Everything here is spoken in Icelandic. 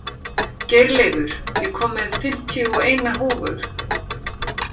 Geirleifur, ég kom með fimmtíu og eina húfur!